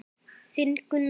Þinn Gunnar.